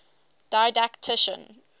didactician